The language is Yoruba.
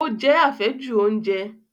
Ó jẹ́ àfẹ́jù oúnjẹ